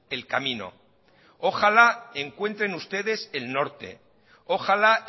el camino ojalá encuentren ustedes el norte ojalá